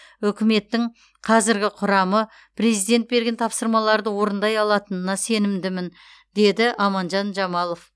үкіметтің қазіргі құрамы президент берген тапсырмаларды орындай алатынына сенімдімін деді аманжан жамалов